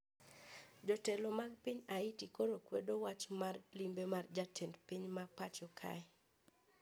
Jotelo mag piny haiti koro okwedo wach mar limbe mar jatend piny mapacho kae